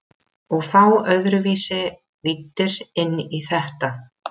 Og fá öðruvísi víddir inn í þetta.